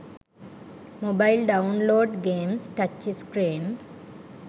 mobile download games touch screen